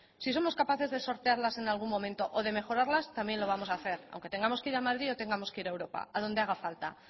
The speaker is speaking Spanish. si somos capaces de sortearlas en algún momento o de mejorarlas también lo vamos a hacer aunque tengamos que ir a madrid o tengamos que ir a europa a donde haga falta